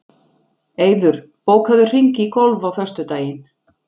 Eiður, bókaðu hring í golf á föstudaginn.